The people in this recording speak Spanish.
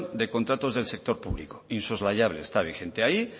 de contratos del sector público insoslayable está vigente ahí